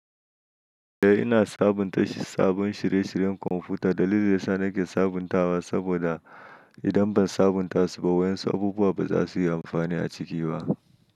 Eh, ina sabunta sabbin shirye-shiryen kwamfuta. Dalilin da yasa nake sabuntawa saboda idan ban sabunta su ba, wa'yansu abubuwa ba za su yi amfani a ciki ba.